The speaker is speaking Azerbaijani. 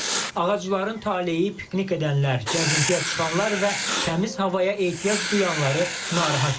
Ağacların taleyi piknik edənlər, gəzintiyə çıxanlar və təmiz havaya ehtiyac duyanları narahat edir.